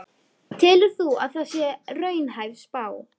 Telur þú að það sé raunhæf spá?